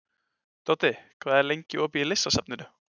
Doddi, hvað er lengi opið í Listasafninu?